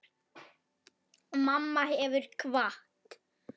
Mamma hefur kvatt.